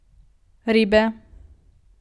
Ribe.